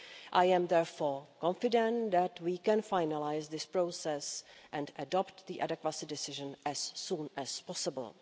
I am therefore confident that we can finalise this process and adopt the adequacy decision as soon as possible.